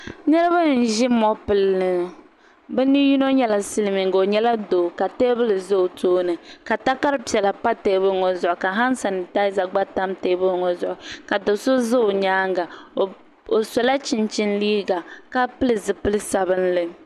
Niriba n ʒi mopili bɛ ni yino nyɛla silimiiga o nyɛla doo ka teebuli za o tooni ka takara piɛla pa teebuli maa zuɣu han sanitaaza gba tam teebuli maa zuɣu ka do'so za o nyaanga o sola chichini liiga ka pili zipil'sabinli.